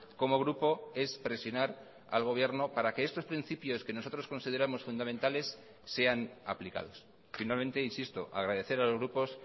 como grupo es presionar al gobierno para que estos principios que nosotros consideramos fundamentales sean aplicados finalmente insisto agradecer a los grupos